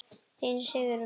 Þín, Sigrún.